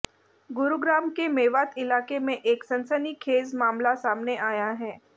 गुरुग्राम के मेवात इलाके में एक सनसनीखेज मामला सामने आया है